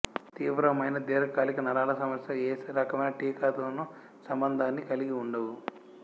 తీవ్రమైన దీర్ఘకాలిక నరాల సమస్యలు ఏ రకమైన టీకాతోను సంబంధాన్ని కలిగి ఉండవు